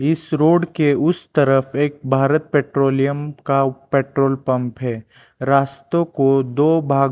इस रोड के उस तरफ एक भारत पेट्रोलियम का पेट्रोल पंप है रास्तों को दो भाग--